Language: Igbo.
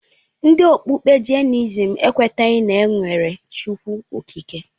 Ndị okpukpe Jainisim ekwenyeghi na enwere Chukwu Okike.